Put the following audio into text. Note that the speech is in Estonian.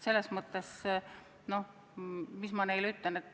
Selles mõttes, no mis ma neile ütlen ...